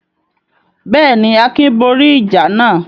Bẹ́ẹ̀ ni, Akin borí ìjà náà.